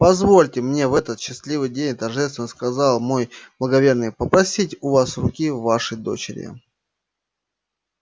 позвольте мне в этот счастливый день торжественно сказал мой благоверный попросить у вас руки вашей дочери